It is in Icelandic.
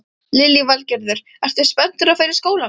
Lillý Valgerður: Ertu spenntur að fara í skólann?